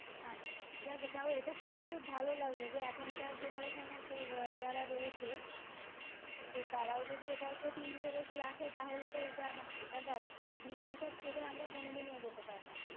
আচ্ছা যাগ্গে তাও এটা শুনে খুব ভালো লাগলো যে এখনকার generation এ যারা রয়েছে তো তারাও যদি এটার প্রতি interest রাখে তাহলে তো এটা মানে এটা দেখ agriculture ছেড়ে আমরা কোনোদিনই এগোতে পারবো না